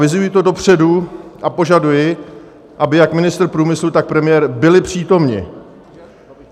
Avizuji to dopředu, a požaduji, aby jak ministr průmyslu, tak premiér byli přítomni.